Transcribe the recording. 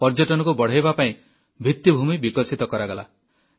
ପର୍ଯ୍ୟଟନକୁ ବଢ଼ାଇବା ପାଇଁ ଭିତ୍ତିଭୂମି ବିକଶିତ କରାଗଲା